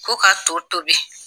Ko ka to tobi